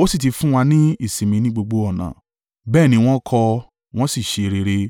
ó sì ti fún wa ní ìsinmi ní gbogbo ọ̀nà.” Bẹ́ẹ̀ ni wọ́n kọ́ ọ, wọn sì ṣe rere.